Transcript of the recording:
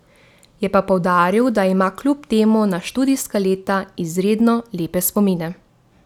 Je pa poudaril, da ima kljub temu na študijska leta izredno lepe spomine.